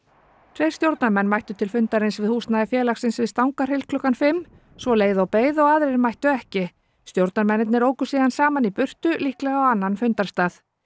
tveir stjórnarmenn mættu til fundarins við húsnæði félagsins við Stangarhyl klukkan fimm svo leið og beið og aðrir mættu ekki stjórnarmennirnir óku síðan saman í burtu líklega á fundarstað